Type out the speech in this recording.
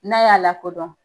N'a y'a lakodɔn.